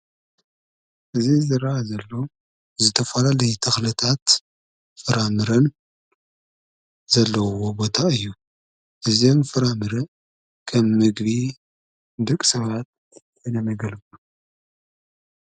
እዝ ዝራኣ ዘሎ ዝተፋላለይ ተኽልታት ፍራምርን ዘለዉዎ ቦታ እዩ። እዘም ፍራምር ከም ምግቢ ድቕ ሰባት እነመገልኩ።